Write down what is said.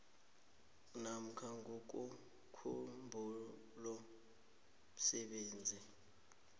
namkha ngokomkhumbulo msebenzi